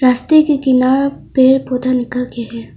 रस्ते के किनार पेड़ पौधा निकाल के है।